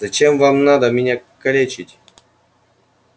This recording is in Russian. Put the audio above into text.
зачем вам надо меня калечить